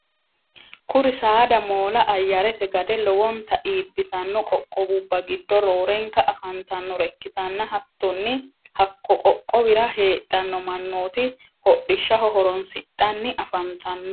kuri saada moola ayarete gade lowonta iibbitanno qoqqowubba giddo roorenka afantannore ikkitanna hattonni hakko qoqqowira heedhanno mannoti hodhishaho horoonsidhanni afantanno.